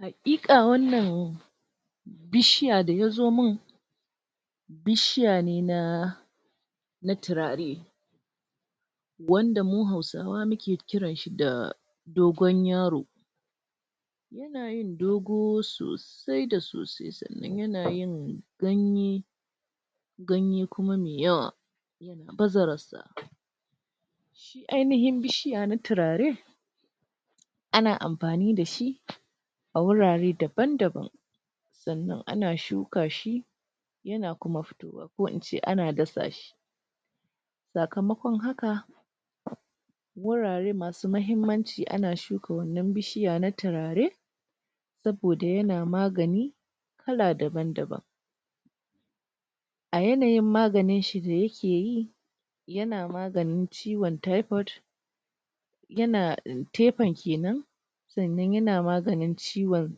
Hakikia wannan bishiya da ya zo mun bishiya ne na turare wanda mu hausawa muke kiran shi da dogon yaro yana yin dogo sosai da soai sannan yana yin ganye ganye kuma me yawa yana baza rar sa ainiyin bishiya na turare ana amfani da shi a wurare daban daban sannan ana shuka shi yana kuma fitowa ko in ce ana dasa shi tsakamakon haka wurare masu mahimmanci ana shuka wannan bishiya na turare saboda yana magani kala daban daban a yanayin maganin shi da yake yi yana maganin shi ciwon typhiod yana kenan tsannan yana maganin ciwon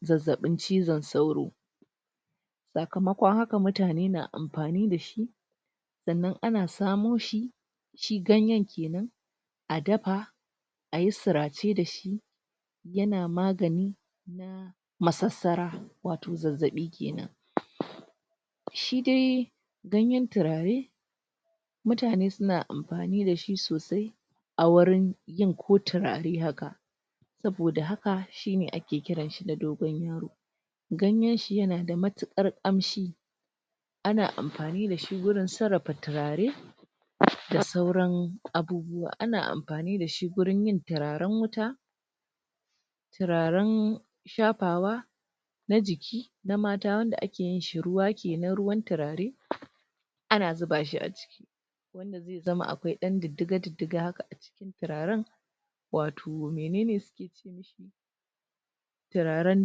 zazzabin cizon sauro tsakamokon hakan mutane na amfani dashi tsannan ana samo shi shi ganyen kenan a dafa a yi surace dashi yana magani massasara wato zazzabi kena shi dai ganyen turarai mutane suna amfani da shi sosai a wurin yin ko turarai haka tsaboda haka shi ne ake kiran shi da dogon yaro ganyen shi yana da matukar kamshi ana amfani da shi wurin tsurafa turarai da sauran abubuwa. Ana amfani da shi wurin yin turarain wuta turaren shafawa na jiki, na mata wadda ake yin shi ruwa kenan, ruwan turare ana zuba shi a ciki zama dai akwai dan didiga didiga haka a cikin turaren wato menene suke ce mishi turarai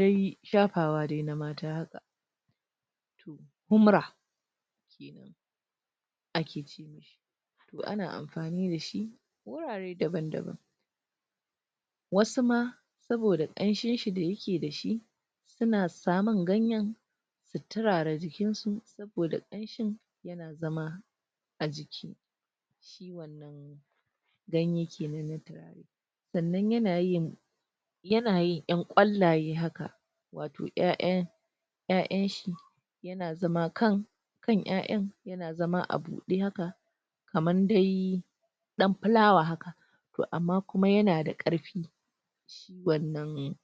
de shafawa na mata haka humra a ke ce mishi toh ana amfani da shi wurare daban daban wasu ma saboda kamshin shi da yake da shi suna samun ganyen su turara jikin su saboda kamshin yana zama a jiki ganye kenan na turare sannan yana yin yana yin yan kwalaye haka wato eya'yan ai; in shi na zama kan eya eyan na zama a bude haka kaman dai dan fulawa haka toh amma kuma yana da karfi wannan